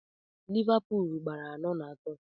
Livapul gbara anọ na atọ